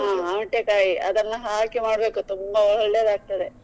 ಔಟೆಕಾಯಿ ಅದನ್ನಹಾಕಿ ಮಾಡ್ಬೇಕು ತುಂಬಾ ಒಳ್ಳೇದಾಗ್ತದೆ.